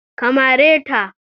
Ka mare ta!